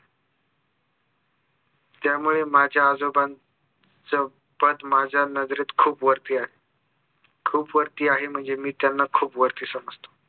त्यामुळे माझ्या आजोबांचं पद माझ्या नजरेत खूप वरती आहे खूप वरती आहे म्हणजे मी त्यांना खूप वरती समजतो